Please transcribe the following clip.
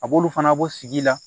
A b'olu fana bɔ sigi la